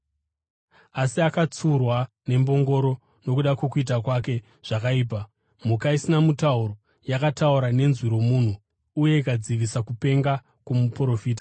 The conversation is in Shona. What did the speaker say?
Asi akatsiurwa nembongoro nokuda kwokuita kwake zvakaipa, mhuka isina mutauro yakataura nenzwi romunhu uye ikadzivisa kupenga kwomuprofita.